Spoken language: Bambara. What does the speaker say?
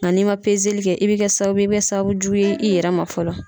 Nka n'i man pezeli kɛ i bɛ kɛ sababu ye i bɛ kɛ sababu jugu ye i yɛrɛ ma fɔlɔ.